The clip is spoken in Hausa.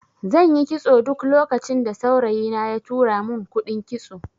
Zanyi kitson duk lokacin da saurayi na ya tura mun kuɗin kitso